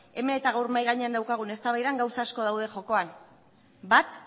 hemen eta gaur mahai gainean daukagun eztabaida gauza asko daude jokoan bat